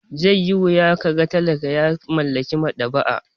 Zai yi wuya ka ga talaka ya mallaki maɗaba'a.